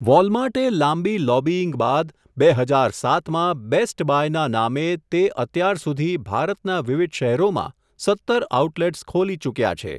વોલમાર્ટે લાંબી લોબિઇંગ બાદ, બે હજાર સાતમાં, બેસ્ટ બાયના નામે તે અત્યાર સુધી ભારતનાં વિવિધ શહેરોમાં સત્તર આઉટલેટ્સ ખોલી ચૂક્યા છે.